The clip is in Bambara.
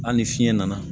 Hali ni fiɲɛ nana